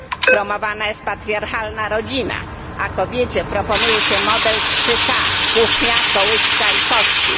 Promowana jest patriarchalna rodzina, a kobiecie proponuje się model 3k kuchnia, kołyska i kościół.